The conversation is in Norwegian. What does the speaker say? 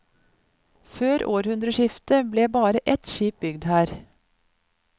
Før århundreskiftet ble bare ett skip bygd her.